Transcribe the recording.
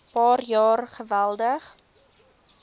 paar jaar geweldig